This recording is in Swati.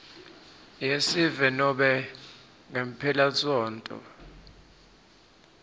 yesive nobe ngemphelasontfo